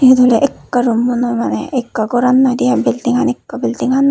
iyot oley ekka roommo noi maneh ekka goran noidey ai buildingan ekka buildingan.